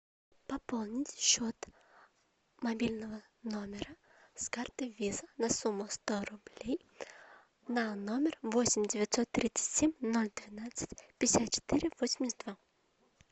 пополнить счет мобильного номера с карты виза на сумму сто рублей на номер восемь девятьсот тридцать семь ноль двенадцать пятьдесят четыре восемьдесят два